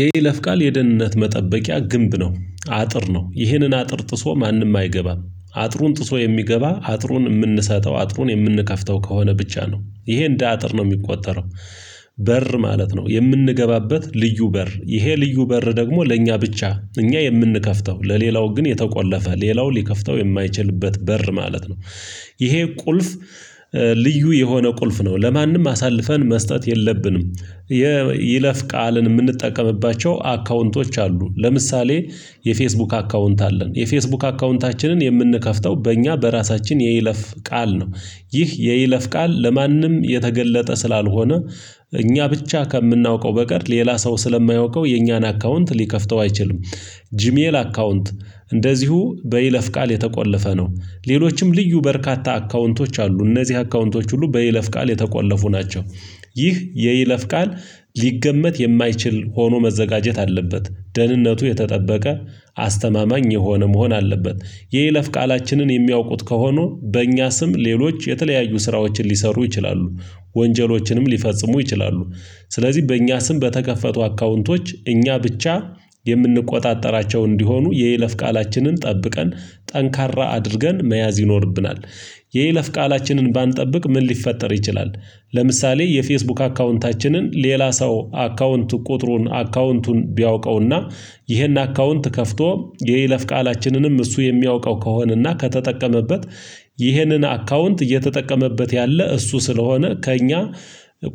የይለፍ ቃል የደህንነት መጠበቂያ ግንብ ነው አጥር ነው ይህንን አጥር ጥሶ ማንም አይገባም አጥሩን ጥሶ የሚገባ አጥሩን የምንሰጠው አጥሩን የምንከፍተው ከሆነ ብቻ ነው ይሄ እንደ አጥር ነው የሚቆጠረው። በር ማለት ነው የምንገባበት ልዩ በር ይሄ ልዩ በር ደግሞ ለእኛ ብቻ እኛ የምንከፍተው ለሌላው ግን የተቆለፈ ሌላው ሊከፍተው የማይችልበት በር ማለት ነው። ይሄ ቁልፍ ልዩ የሆነ ቁልፍ ነው ለማንም አሳልፈን መስጠት የለብንም። የይለፍ ቃልን የምንጠቀምባቸው አካውንቶች አሉ ለምሳሌ። የፌስቡክ አካውንት አለን የፌስቡክ አካውንታችንን የምንከፍተው በእኛ በራሳችን የይለፍ ቃል ነው። ይህ የይለፍ ቃል ለማንም የተገለጠ ስላልሆነ እኛ ብቻ ከምናውቀው በቀር ሌላ ሰው ስለማያውቀው የእኛን አካውንት ሊከፍተው አይችልም። ጂ ሜኤል አካውንት። እንደዚሁ በይለፍ ቃል የተቆለፈ ነው። ሌሎችም ልዩ በርካታ አካውንቶች አሉ እነዚህ አካውንቶች ሁሉ በይለፍ ቃል የተቆለፉ ናቸው። ይህ የይለፍ ቃል ሊገመት የማይችል ሆኖ መዘጋጀት አለበት። ደህንነቱ የተጠበቀ አስተማማኝ የሆነ መሆን አለበት። የይለፍ ቃላችንን የሚያውቁት ከሆኑ በእኛ ስም ሌሎች የተለያዩ ስራዎችን ሊሰሩ ይችላሉ። ወንጀሎችንም ሊፈጽሙ ይችላሉ። ስለዚህ በእኛ ስም በተከፈቱ አካውንቶች እኛ ብቻ የምንቆጣጠራቸው እንዲሆኑ የይለፍ ቃላችንን ጠብቀን ጠንካራ አድርገን መያዝ ይኖርብናል። የይለፍ ቃላችንን ባንጠብቅ ምን ሊፈጠር ይችላል? ለምሳሌ የፌስቡክ አካውንታችንን ሌላ ሰው አካውንቱ ቁጥሩን አካውንቱን ቢያውቀውና ይሄን አካውንት ከፍቶ የይለፍ ቃላችንንም እሱ የሚያውቀው ከሆነና ከተጠቀመበት ይህንን አካውንት እየተጠቀመበት ያለ እሱ ስለሆነ ከእኛ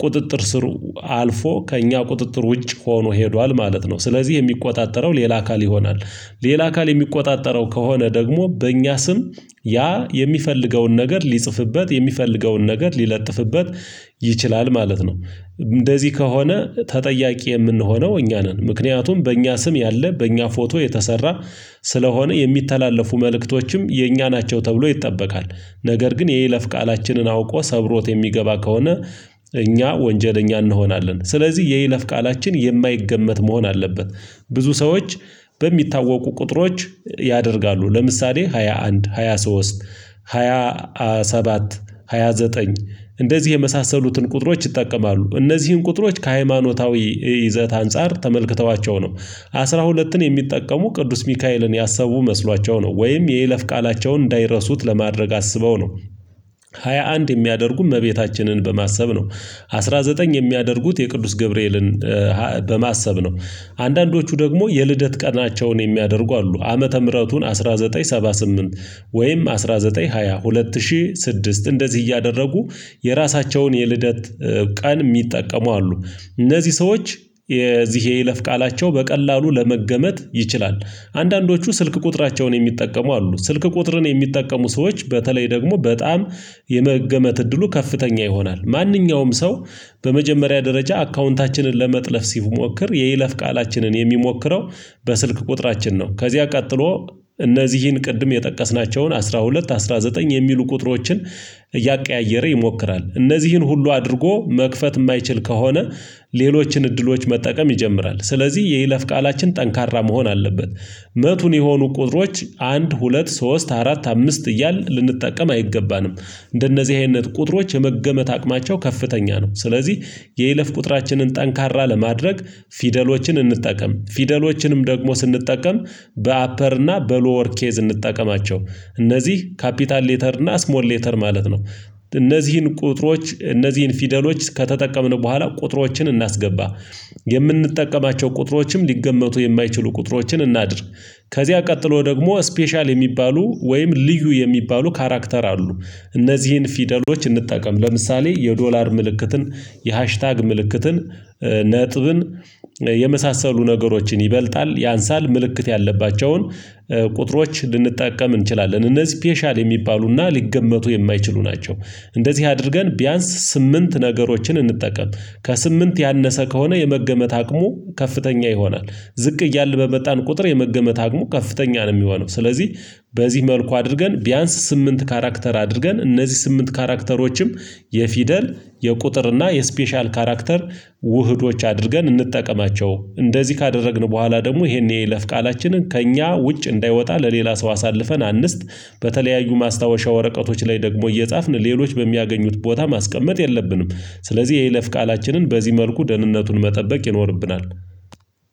ቁጥጥር ስር አልፎ ከእኛ ቁጥጥር ውጭ ሆኖ ሄዷል። ማለት ነው ስለዚህ የሚቆጣጠረው ሌላ አካል ይሆናል። ሌላ አካል የሚቆጣጠረው ከሆነ ደግሞ በእኛ ስም ያ የሚፈልገውን ነገር ሊጽፍበት የሚፈልገውን ነገር ሊለጥፍበት ይችላል ማለት ነው። እንደዚህ ከሆነ ተጠያቂ የምንሆነው እኛ ነን ምክንያቱም በእኛ ስም ያለ በእኛ ፎቶ የተሰራ ስለሆነ የሚተላለፉ መልእክቶችም የእኛ ናቸው ተብሎ ይጠበቃል። ነገር ግን የይለፍ ቃላችንን አውቆ ሰብሮት የሚገባ ከሆነ እኛ ወንጀለኛ እንሆናለን። ስለዚህ የይለፍ ቃላችን የማይገመት መሆን አለበት። ብዙ ሰዎች በሚታወቁ ቁጥሮች ያደርጋሉ ለምሳሌ ሃያ አንድ ሃያ ሶስት ሃያ ሰባት ሃያ ዘጠኝ እንደዚህ የመሳሰሉትን ቁጥሮች ይጠቀማሉ። እነዚህን ቁጥሮች ከሃይማኖታዊ ይዘት አንፃር ተመልክተዋቸው ነው። አስራ ሁለትን የሚጠቀሙ ቅዱስ ሚካኤልን ያሰቡ መስሏቸው ነው ወይም የይለፍ ቃላቸውን እንዳይረሱት ለማድረግ አስበው ነው። ሃያ አንድ የሚያደርጉ እመቤታችንን በማሰብ ነው። አስራ ዘጠኝ የሚያደርጉት የቅዱስ ገብርኤልን በማሰብ ነው። አንዳንዶቹ ደግሞ የልደት ቀናቸውን የሚያደርጉ አሉ። ዓመተ ምህረቱን አንድ ሺህ ዘጠኝ መቶ ሰባ ስምንት ወይም አንድ ሺህ ዘጠኝ መቶ ሃያ ሁለት ሁለት ሺህ ስድስት እንደዚህ እያደረጉ የራሳቸውን የልደት ቀን የሚጠቀሙ አሉ። እነዚህ ሰዎች የዚህ የይለፍ ቃላቸው በቀላሉ ለመገመት ይችላል። አንዳንዶቹ ስልክ ቁጥራቸውን የሚጠቀሙ አሉ ስልክ ቁጥርን የሚጠቀሙ ሰዎች በተለይ ደግሞ በጣም የመገመት እድሉ ከፍተኛ ይሆናል። ማንኛውም ሰው በመጀመሪያ ደረጃ አካውንታችንን ለመጥለፍ ሲሞክር የይለፍ ቃላችንን የሚሞክረው በስልክ ቁጥራችን ነው። ከዚያ ቀጥሎ እነዚህን ቅድም የጠቀስናቸውን አስራ ሁለት አስራ ዘጠኝ የሚሉ ቁጥሮችን እያቀያየረ ይሞክራል። እነዚህን ሁሉ አድርጎ መክፈት የማይችል ከሆነ ሌሎችን እድሎች መጠቀም ይጀምራል። ስለዚህ የይለፍ ቃላችን ጠንካራ መሆን አለበት። መቱን የሆኑ ቁጥሮች አንድ ሁለት ሶስት አራት አምስት እያል ልንጠቀም አይገባንም እንደነዚህ አይነት ቁጥሮች የመገመት አቅማቸው ከፍተኛ ነው። ስለዚህ የይለፍ ቁጥራችንን ጠንካራ ለማድረግ ፊደሎችን እንጠቀም ፊደሎችንም ደግሞ ስንጠቀም በአፐር እና በሎወር ኬዝ እንጠቀማቸው እነዚህ ካፒታል ሌተር እና እስሞል ሌተር ማለት ነው። እነዚህን ቁጥሮች እነዚህን ፊደሎች ከተጠቀምን በኋላ ቁጥሮችን እናስገባ። የምንጠቀማቸው ቁጥሮችም ሊገመቱ የማይችሉ ቁጥሮችን እናድርግ። ከዚያ ቀጥሎ ደግሞ ስፔሻል የሚባሉ ወይም ልዩ የሚባሉ ካራክተር አሉ። እነዚህን ፊደሎች እንጠቀም ለምሳሌ የዶላር ምልክትን የሃሽታግ ምልክትን ነጥብን የመሳሰሉ ነገሮችን ይበልጣል ያንሳል ምልክት ያለባቸውን ቁጥሮች ልንጠቀም እንችላለን እነዚህ ስፔሻል የሚባሉና ሊገመቱ የማይችሉ ናቸው። እንደዚህ አድርገን ቢያንስ ስምንት ነገሮችን እንጠቀም። ከስምንት ያነሰ ከሆነ የመገመት አቅሙ ከፍተኛ ይሆናል። ዝቅ እያለ በመጣን ቁጥር የመገመት አቅሙ ከፍተኛ ነው የሚሆነው ስለዚህ። በዚህ መልኩ አድርገን ቢያንስ ስምንት ካራክተር አድርገን እነዚህ ስምንት ካራክተሮችም የፊደል የቁጥር እና የስፔሻል ካራክተር ውህዶች አድርገን እንጠቀማቸው። እንደዚህ ካደረግን በኋላ ደግሞ ይሄን የለፍ ቃላችንን ከእኛ ውጭ እንዳይወጣ ለሌላ ሰው አሳልፈን አንስት በተለያዩ ማስታወሻ ወረቀቶች ላይ ደግሞ እየጻፍን ሌሎች በሚያገኙት ቦታ ማስቀመጥ የለብንም። ስለዚህ የይለፍ ቃላችንን በዚህ መልኩ ደህንነቱን መጠበቅ ይኖርብናል